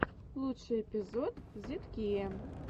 лучший эпизод зидкея